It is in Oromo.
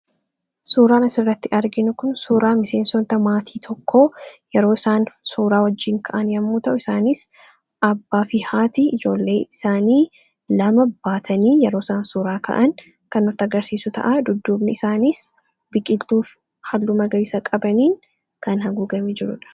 suuraan asirratti arginu kun suuraa miseensoota maatii tokkoo yeroo isaan suuraa wajjiin ka'an yommuu ta'u isaaniis abbaa fi haati ijoollee isaanii lama baatanii yeroo isaan suuraa ka'an kan nutti agarsiisu ta'a dudduubni isaaniis biqiiltuuf halluu magariisa qabaniin kan haguugamee jirudha